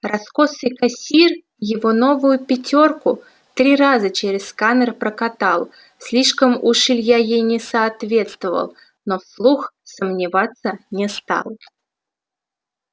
раскосый кассир его новую пятёрку три раза через сканер прокатал слишком уж илья ей не соответствовал но вслух сомневаться не стал